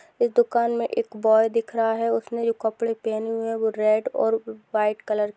इस दुकान में एक बॉय दिख रहा है उसने जो कपड़े पहने हुए हैं वो रेड और व्हाइट कलर --